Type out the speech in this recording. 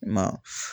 I ma